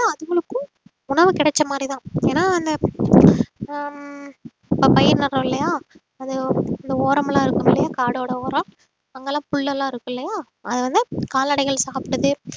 அதுகளுக்கும் உணவு கிடைச்ச மாதிரிதான் ஏன்னா ஹம் அந்த பயிர் நடுரோம் இல்லையா அது இந்த ஓரமெல்லாம் இருக்கும் இல்லையா காடோட ஓரம் அங்கெல்லாம் புல்லு எல்லாம் இருக்கு இல்லையா அது வந்து கால்நடைகள் சாப்பிட்டது